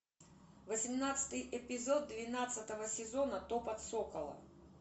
восемнадцатый эпизод двенадцатого сезона топот сокола